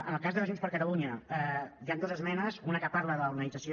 en el cas de junts per catalunya hi han dues esmenes una que parla de l’organització